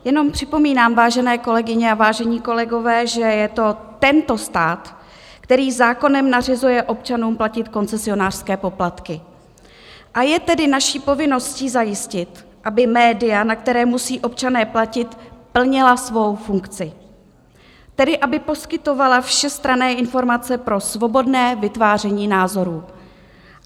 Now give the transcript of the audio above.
Jenom připomínám, vážené kolegyně a vážení kolegové, že je to tento stát, který zákonem nařizuje občanům platit koncesionářské poplatky, a je tedy naší povinností zajistit, aby média, na která musí občané platit, plnila svou funkci, tedy aby poskytovala všestranné informace pro svobodné vytváření názorů.